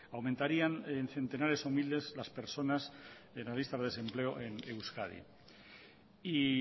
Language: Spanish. aumentarían en centenares o miles las personas de la lista de desempleo en euskadi y